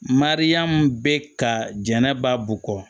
Mariyamu bɛ ka jɛnɛba bukɔ